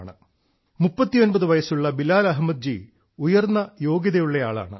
39 വയസ്സുള്ള ശ്രീ ബിലാൽ അഹമ്മദ് ഉയർന്ന യോഗ്യതയുള്ള ആളാണ്